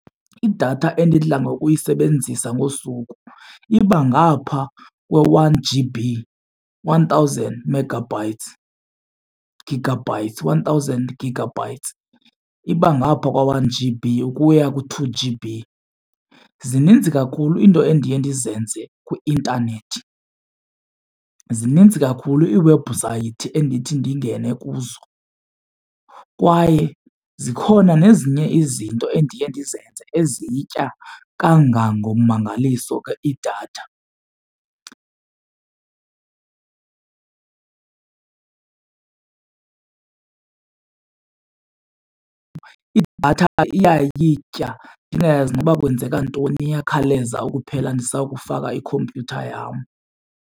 Idatha endidla ngokuyisebenzisa ngosuku iba ngaphaa kwe-one G_B, one thousand megabytes, gigabytes, one thousand gigabytes. Iba ngaphaa kwa-one-G_B ukuya ku two-G_B. Zininzi kakhulu iinto endiye ndizenze kwi-intanethi. Zininzi kakhulu iiwebhusayithi endithi ndingene kuzo kwaye zikhona nezinye izinto endiye ndizenze ezitya kangangommangaliso ke idatha. Idatha iyayitya ndingayazi noba kwenzeka ntoni, iyakhawuleza ukuphela ndisakufaka ikhompyutha yam.